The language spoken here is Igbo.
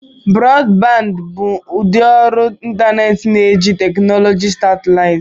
Broadband bụ ụdị ọrụ ịntanetị na-eji teknụzụ satịlaịtị.